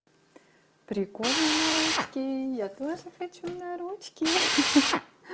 прикольно на ручки я тоже хочу на ручки ха-ха